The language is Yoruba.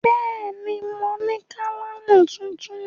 Bẹ́ẹ̀ ni, mo ní kálámù tuntun.